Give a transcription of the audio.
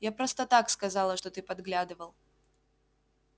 я просто так сказала что ты подглядывал